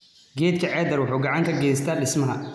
Geedka cedar wuxuu gacan ka geystaa dhismaha.